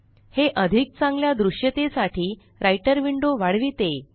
हे अधिक चांगल्या दृश्यतेसाठी राइटर विंडो वाढविते